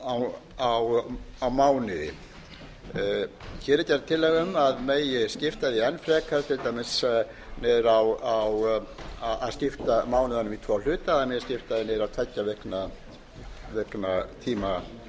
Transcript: á mánuði hér er gerð tillaga um að skipta megi því enn frekar til dæmis skipta mánuðinum í tvo hluta það megi skipta þeim niður